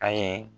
An ye